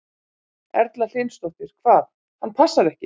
Erla Hlynsdóttir: Hvað, hann passar ekki?